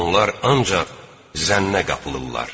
Onlar ancaq zənnə qapılırlar.